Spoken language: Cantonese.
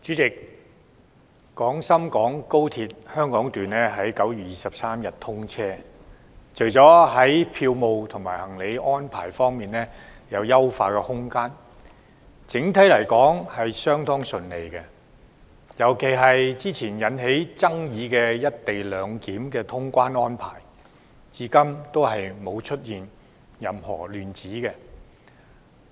主席，廣深港高鐵香港段在9月23日通車，除了票務和行李安排方面有優化空間之外，整體來說相當順利，尤其是之前引起爭議的"一地兩檢"通關安排，至今沒有出現任何亂子。